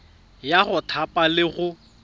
ya go thapa le go